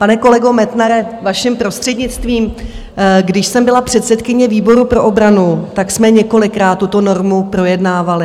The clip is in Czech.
Pane kolego Metnare, vaším prostřednictvím, když jsem byla předsedkyně výboru pro obranu, tak jsme několikrát tuto normu projednávali.